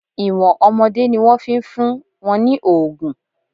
Ìwọ̀n ọmọdé ni wọ́n fi ń fún wọn ní òògùn.